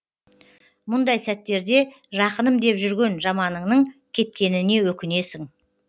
мұндай сәттерде жақыным деп жүрген жаманыңның кеткеніне өкінесің